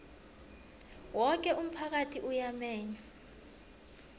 woke umphakathi uyamenywa